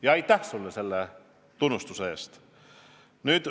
Ja aitäh sulle selle tunnustuse eest!